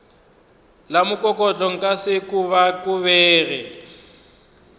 la mokokotlo nka se kobakobege